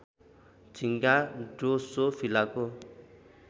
झिँगा ड्रोसोफिलाको